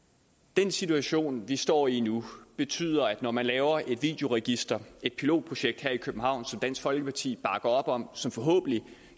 den situation vi står i nu betyder at når man laver et videoregister et pilotprojekt her i københavn som dansk folkeparti bakker op om og som